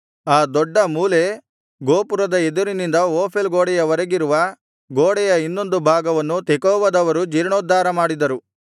ಆ ದೊಡ್ಡ ಮೂಲೆ ಗೋಪುರದ ಎದುರಿನಿಂದ ಓಫೇಲ್ ಗೋಡೆಯವರೆಗಿರುವ ಗೋಡೆಯ ಇನ್ನೊಂದು ಭಾಗವನ್ನು ತೆಕೋವದವರು ಜೀರ್ಣೋದ್ಧಾರ ಮಾಡಿದರು